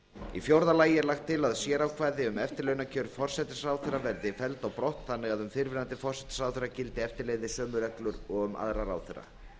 í fjórða lagi er lagt til að sérákvæði um eftirlaunakjör forsætisráðherra verði felld á brott þannig að um fyrrverandi forsætisráðherra gildi eftirleiðis sömu reglur og um aðra ráðherra